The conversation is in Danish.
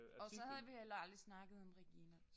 Og så havde vi heller aldrig snakket om Regina